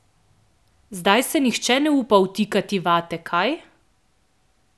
Zdaj se nihče ne upa vtikati vate, kaj?